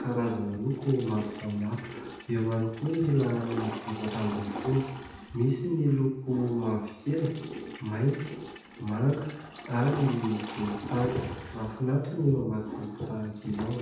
karazana loko maro samihafa. Eo ihany koa ny laharana efatra ambin'ny folo. Misy ny loko mavokely, mainty, manga ary volontany. Mahafinaritra ny mamaky boky tahaka izao.